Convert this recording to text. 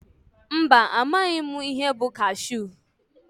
Mba amaghị mụ ihe bụ kashu.